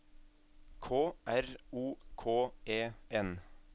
K R O K E N